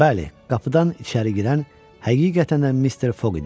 Bəli, qapıdan içəri girən həqiqətən də Mister Foq idi.